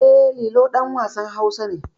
E, Lilo ɗan wasan Hausa ne.